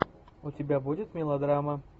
у тебя будет мелодрама